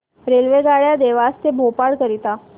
रेल्वेगाड्या देवास ते भोपाळ करीता